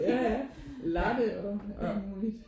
Ja ja latte og alt muligt